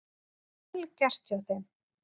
Vel gert hjá þeim.